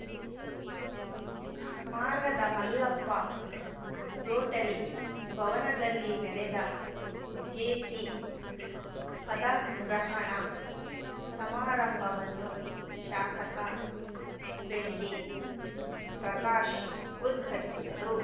ಮಾರ್ಗದ ಮಲ್ಲಪ್ಪ ರೋಟರಿ ಭವನದಲ್ಲಿ ನಡೆದ ಜೆಸಿ ಪದಗ್ರಹಣ ಸಮಾರಂಭವನ್ನು ಶಾಸಕ ಬೆಳ್ಳಿ ಪ್ರಕಾಶ್‌ ಉದ್ಘಾಟಿಸಿದರು